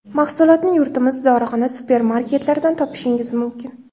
Mahsulotni yurtimiz dorixona, supermarketlaridan topishingiz mumkin.